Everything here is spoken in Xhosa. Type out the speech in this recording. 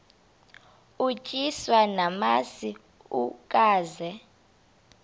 utyiswa namasi ukaze